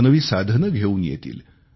नवनवी साधने घेऊन येतील